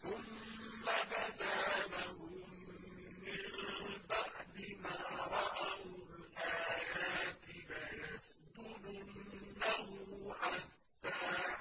ثُمَّ بَدَا لَهُم مِّن بَعْدِ مَا رَأَوُا الْآيَاتِ لَيَسْجُنُنَّهُ حَتَّىٰ